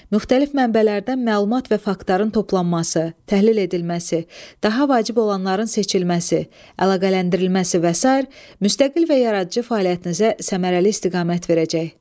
Müxtəlif mənbələrdən məlumat və faktların toplanması, təhlil edilməsi, daha vacib olanların seçilməsi, əlaqələndirilməsi və sair müstəqil və yaradıcı fəaliyyətinizə səmərəli istiqamət verəcək.